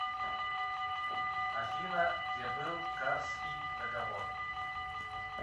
афина где был карсский договор